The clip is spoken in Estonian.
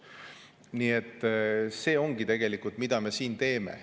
Nii et see ongi tegelikult see, mida me siin teeme.